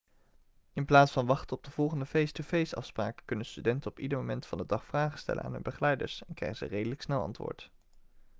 in plaats van wachten op de volgende face-to-face afspraak kunnen studenten op ieder moment van de dag vragen stellen aan hun begeleiders en krijgen ze redelijk snel antwoord